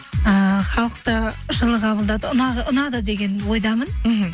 ыыы халық та жылы қабылдады ұнады деген ойдамын мхм